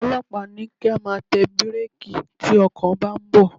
Àwọn ọlọ́pàá ní kí á máa tẹ bírékì tí ọkọ̀ bá ń bọ̀.